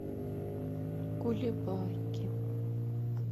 кулебаки